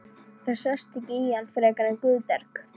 Það sást ekki í hann frekar en Guðberg.